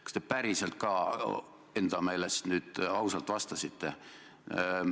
Kas te päriselt ka enda meelest nüüd ausalt vastasite?